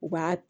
U b'a